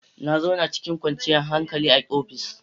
Na zauna cikin kwanciyar hankali a ofis.